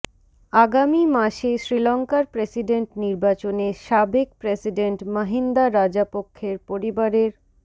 আগামী মাসে শ্রীলঙ্কার প্রেসিডেন্ট নির্বাচনে সাবেক প্রেসিডেন্ট মাহিন্দা রাজাপক্ষের পরিবারের